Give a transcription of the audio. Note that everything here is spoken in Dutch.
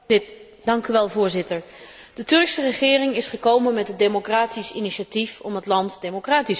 Voorzitter, de Turkse regering is gekomen met het democratisch initiatief om het land democratischer te maken.